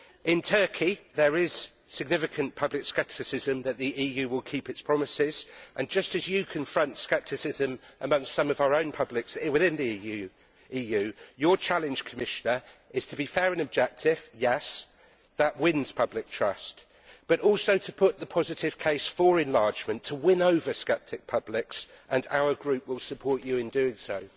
In Turkey, there is significant public scepticism that the EU will keep its promise and, just as you confront scepticism amongst some of our publics within the EU, your challenge, Commissioner, is to be fair and objective and, yes, that wins public trust. But also to put the positive case for enlargement, to win over sceptic publics, and our group will support you in doing so.